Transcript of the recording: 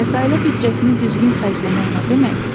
Bəs ailə büdcəsini düzgün xərcləmək nə deməkdir?